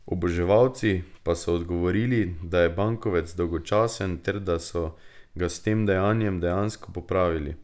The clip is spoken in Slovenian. Oboževalci pa so odgovorili, da je bankovec dolgočasen ter da so ga s tem dejanjem dejansko popravili.